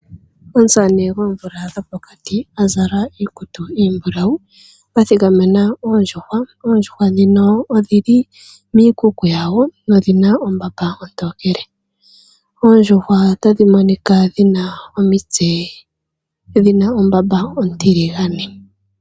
Omusamane goomvula dhopokati azala iikutu iimbulawu athikamena oondjuhwa. Oondjuhwa dhino odhili miikuku yadho nodhina ombamba ontookele, nota dhina monika dhina omitse dhina ombamba ontiligane.